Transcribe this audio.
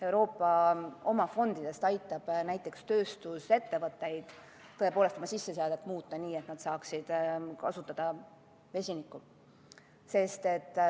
Euroopa oma fondidest aitab näiteks tööstusettevõtetel oma sisseseadet muuta, nii et nad saaksid kasutada vesinikku.